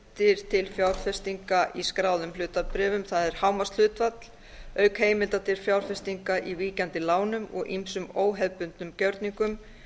til fjárfestinga í skráðum hlutabréfum það er hámarkshlutfall auk heimilda til fjárfestinga í víkjandi lánum og ýmsum óhefðbundnum gjörningum